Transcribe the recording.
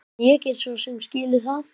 En ég get svo sem skilið það.